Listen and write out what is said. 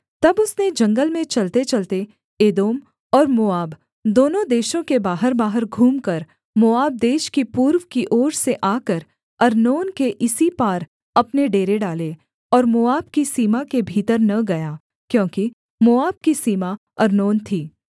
तब उसने जंगल में चलतेचलते एदोम और मोआब दोनों देशों के बाहरबाहर घूमकर मोआब देश की पूर्व की ओर से आकर अर्नोन के इसी पार अपने डेरे डाले और मोआब की सीमा के भीतर न गया क्योंकि मोआब की सीमा अर्नोन थी